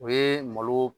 O ye malo